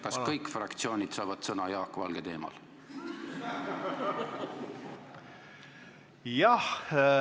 Kas kõik fraktsioonid saavad Jaak Valge teemal sõna?